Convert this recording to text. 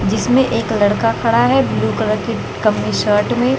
जिसमें एक लड़का खड़ा है ब्लू कलर के कमीज शर्ट में--